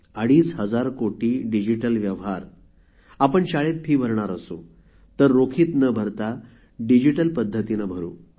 अडीच हजार कोटी डिजिटल व्यवहार आपण शाळेत फी भरणार असू तर रोखीत न भरता डिजिटल पद्धतीने भरू